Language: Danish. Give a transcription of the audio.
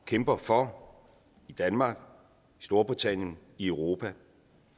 kæmper for i danmark storbritannien europa